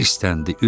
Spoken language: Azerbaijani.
Hisləndi.